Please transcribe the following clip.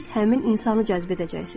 siz həmin insanı cəzb edəcəksiniz.